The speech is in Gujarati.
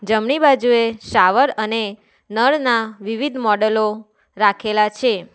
જમણી બાજુએ શાવર અને નળના વિવિધ મોડેલો રાખેલા છે.